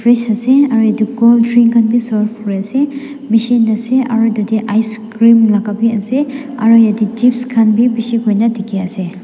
frez ase aro edu colddrink khan bi serve kuriase machine ase aro tatae icecream laka bi ase aro yatae chips khan bi bishi hoina dikhiase.